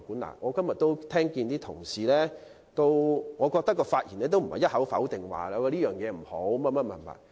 根據今天所聽到同事的發言，他們也不是一口否定這項建議。